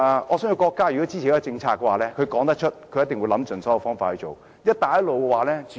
我相信如果國家支持一項政策的話，它一定會想盡所有方法進行。